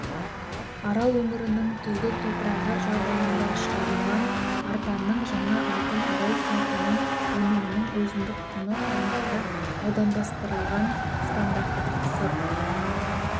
арал өңірінің тұзды топырағы жағдайында шығарылған арпаның жаңа алтын арай сортының өнімінің өзіндік құны аймақта аудандастырылған стандарттық сыр